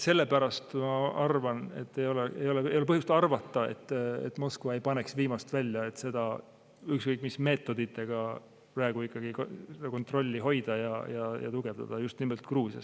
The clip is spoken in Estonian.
Sellepärast ma arvan, et ei ole põhjust arvata, et Moskva ei paneks viimast välja, et ükskõik mis meetoditega praegu ikkagi kontrolli hoida ja tugevdada just nimelt Gruusias.